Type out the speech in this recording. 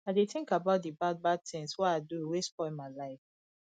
i dey tink about di bad bad tins wey i do wey spoil my life